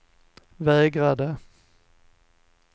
vägrade